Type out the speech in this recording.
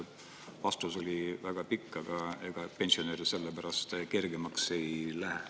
Vastus oli väga pikk, aga ega pensionäril sellepärast kergemaks ei lähe.